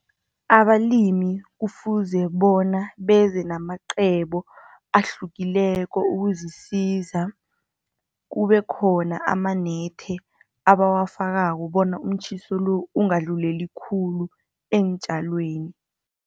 Abalimi kufuze bona beze namacebo ahlukileko, ukuzisiza. Kube khona amanethi, abawafakako bona umtjhiso lo, ungadluleli khulu eentjalweni.